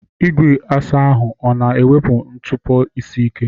Igwe asa ahụ ọ na-ewepụ ntụpọ isi ike?